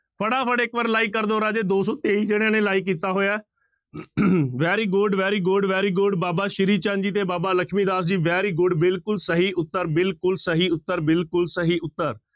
ਫਟਾਫਟ ਇੱਕ ਵਾਰ like ਕਰ ਦਓ ਰਾਜੇ ਦੋ ਸੌ ਤੇਈ ਜਾਣਿਆਂ ਨੇ like ਕੀਤਾ ਹੋਇਆ ਹੈ very good, very good, very good Baba Shri Chand ji ਤੇ ਬਾਬਾ ਲਖਮੀ ਦਾਸ ਜੀ very good ਬਿਲਕੁਲ ਸਹੀ ਉੱਤਰ, ਬਿਲਕੁਲ ਸਹੀ ਉੱਤਰ, ਬਿਲਕੁਲ ਸਹੀ ਉੱਤਰ।